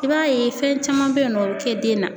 I b'a ye fɛn caman bɛ ye nɔ o bɛ kɛ den na.